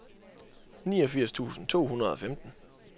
niogfirs tusind to hundrede og femten